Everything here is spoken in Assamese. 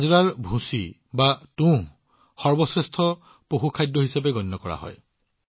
বাজৰাৰ তুঁহকো সৰ্বশ্ৰেষ্ঠ পশুখাদ্য বুলি গণ্য কৰা হয়